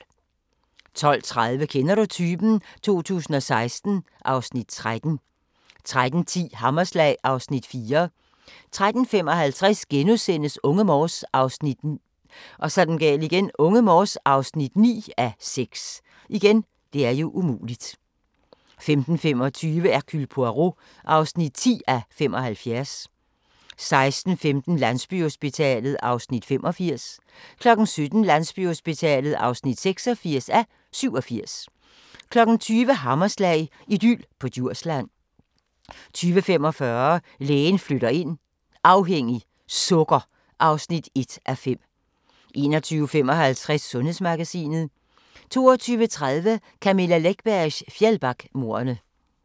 12:30: Kender du typen? 2016 (Afs. 13) 13:10: Hammerslag (Afs. 4) 13:55: Unge Morse (9:6)* 15:25: Hercule Poirot (10:75) 16:15: Landsbyhospitalet (85:87) 17:00: Landsbyhospitalet (86:87) 20:00: Hammerslag – idyl på Djursland 20:45: Lægen flytter ind - afhængig - sukker (1:5) 21:55: Sundhedsmagasinet 22:30: Camilla Läckbergs Fjällbackamordene